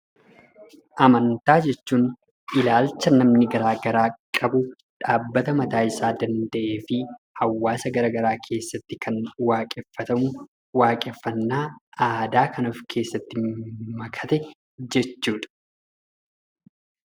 Amantaa jechuun ilaalcha namni garaa garaa qabu dhaabbata mataa isaa danda'ee keessatti waaqeffannaa aadaa of keessaa qabu jechuu dha.